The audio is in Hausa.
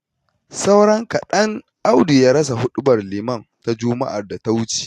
Sauran kaɗan Audu ya rasa huɗubar liman ta Juma'ar da ta wuce